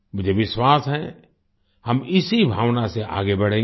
मुझे विश्वास है हम इसी भावना से आगे बढ़ेंगे